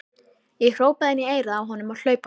Ég hrópaði inn í eyrað á honum á hlaupunum.